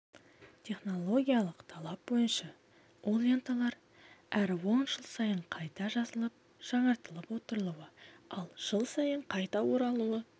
технологиялық талап бойынша ол ленталар әр он жыл сайын қайта жазылып жаңартылып отырылуы ал жыл сайын қайта оралуы